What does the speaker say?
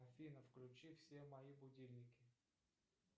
афина включи все мои будильники